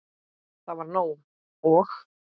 Það var nóg. og.